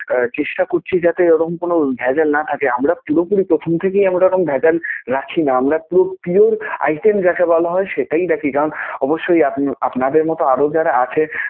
চেষ্টা করছি যাতে ওরকম কোন ভেজাল না থাকে. আমরা পুরোপুরি প্রথম থেকেই আমরা ওরকম ভেজাল রাখি না, আমরা পুরো pure item যাকে বলা হয় সেইটাই রাখি. কারণ অবশ্যই আপ~ আপনাদের মতো আরও যারা আছে